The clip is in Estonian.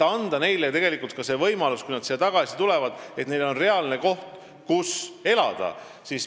Neile tuleb anda see võimalus, et kui nad siia tagasi tulevad, siis on neil reaalne koht, kus elada.